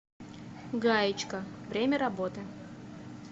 гаечка время работы